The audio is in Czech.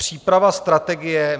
Příprava strategie.